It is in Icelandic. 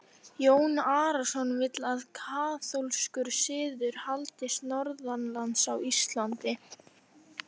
Jón Arason vill að kaþólskur siður haldist norðanlands á Íslandi.